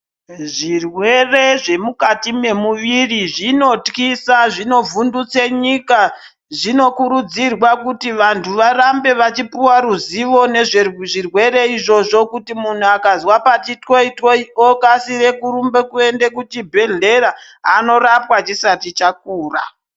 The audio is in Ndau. Zvirwere zvemukati memuviri zvinotyisa zvinovhundutse nyika zvinokurudzirwa kuti vantu varambe vachipihwa ruzivo nezvezvirwere izvozvo kuti munthu akazwa pati twoi twoi okasira kurumba kwende kuchibhedhlera onorapwa chisati chakura.